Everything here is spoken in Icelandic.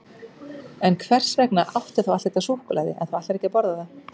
En hvers vegna áttu þá allt þetta súkkulaði ef þú ætlar ekki að borða það?